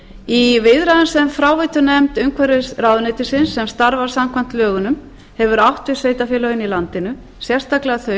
í viðræðum sem fráveitunefnd umhverfisráðuneytisins sem starfar samkvæmt lögunum hefur átt við sveitarfélögin í landinu sérstaklega þau